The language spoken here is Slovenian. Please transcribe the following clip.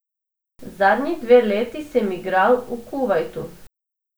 Zadnji dve leti sem igral v Kuvajtu.